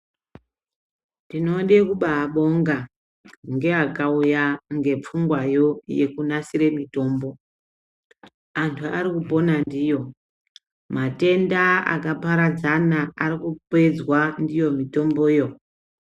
Tinode kubaabonga ngeaakauya ngepfungwayo yekunasire mitombo, anthu arikupona ndiyo, matenda akaparadzana arikupedzwa ndiyo mitomboyo.